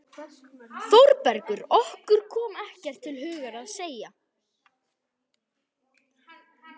ÞÓRBERGUR: Okkur kom ekkert til hugar að segja.